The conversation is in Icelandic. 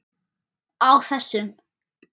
Á þessum